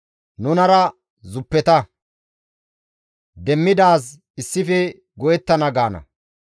Nunara zuppeta; demmidaaz issife go7ettana» gaana.